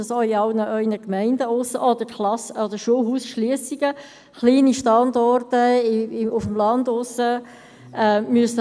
Es kann sein, dass auf dem Land kleine Standorte geschlossen werden müssen.